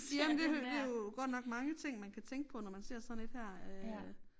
Jamen det det jo godt nok mange ting man kan tænke på når man ser sådan et her øh